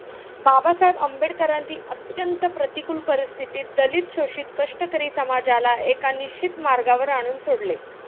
बाबासाहेब आंबेडकरांनी अत्यंत प्रतिकूल परिस्थितीत दलित शोषित कष्टकरी समाजाला एका निश्चित मार्गावर आणून सोडले